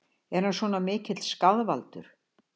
Er hann svona mikill skaðvaldur?